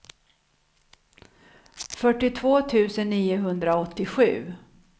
fyrtiotvå tusen niohundraåttiosju